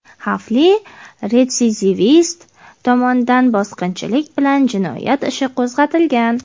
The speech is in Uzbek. xavfli retsidivist tomonidan bosqinchilik) bilan jinoyat ishi qo‘zg‘atilgan.